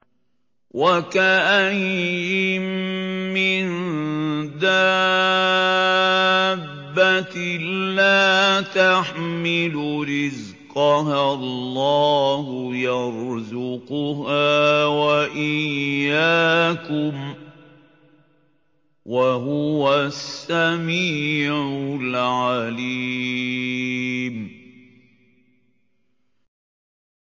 وَكَأَيِّن مِّن دَابَّةٍ لَّا تَحْمِلُ رِزْقَهَا اللَّهُ يَرْزُقُهَا وَإِيَّاكُمْ ۚ وَهُوَ السَّمِيعُ الْعَلِيمُ